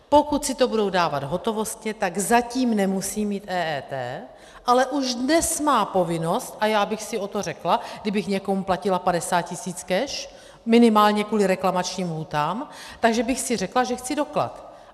Pokud si to budou dávat hotovostně, tak zatím nemusí mít EET, ale už dnes má povinnost - a já bych si o to řekla, kdybych někomu platila 50 tisíc cash, minimálně kvůli reklamačním lhůtám, takže bych si řekla, že chci doklad.